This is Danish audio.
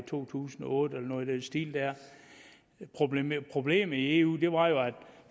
to tusind og otte eller noget i den stil problemet problemet i eu